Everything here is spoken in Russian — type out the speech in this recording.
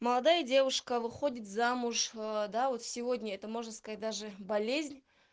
молодая девушка выходит замуж да вот сегодня это можно сказать даже болезнь